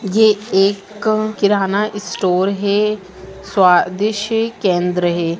ये एक अ किनारा इस स्टोर है स्वादिस्ट केंद्र है।